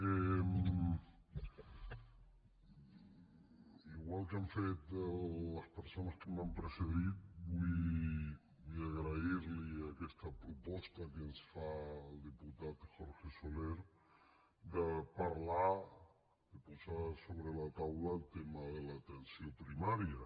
igual que han fet les persones que m’han precedit vull agrairli aquesta proposta que ens fa el diputat jorge soler de parlar de posar sobre la taula el tema de l’atenció primària